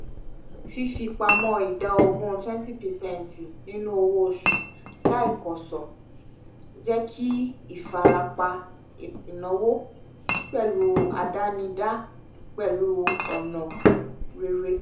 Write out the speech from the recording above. fífipamọ́ ida ogun twenty percent nínú owó oṣù láìkọ́sọ́ jẹ́ kí ìfarapa ináwó pẹ̀lú àdánidá pẹ̀lú ọ̀nà rere